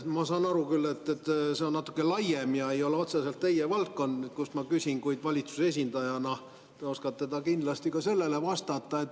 Ma saan aru küll, et see on natuke laiem ja see ei ole otseselt teie valdkonnast, kuid valitsuse esindajana te oskate kindlasti ka sellele vastata.